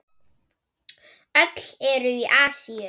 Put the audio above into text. Öll eru í Asíu.